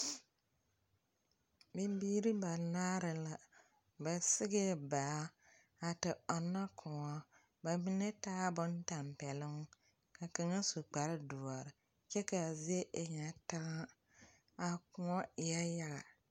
Bimbiiri banaare la, ba sigee baa a te ɔnnɔ kõɔ. Ba mine taa bontampɛloŋ, ka kaŋa su kpardoɔr kyɛ k'a zie e ŋa taŋa. A kõɔ eɛɛ yaga.